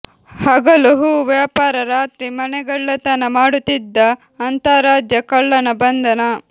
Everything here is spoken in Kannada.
ಹಗಲು ಹೂ ವ್ಯಾಪಾರ ರಾತ್ರಿ ಮನೆಗಳ್ಳತನ ಮಾಡುತ್ತಿದ್ದ ಅಂತಾರಾಜ್ಯ ಕಳ್ಳನ ಬಂಧನ